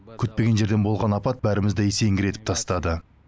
күтпеген жерден болған апат бәрімізді есеңгіретіп тастады